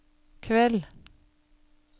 kveld